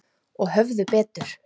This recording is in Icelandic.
Og höfðu betur.